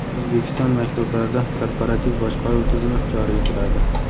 O‘zbekiston maktablarida korporativ boshqaruv tizimi joriy etiladi.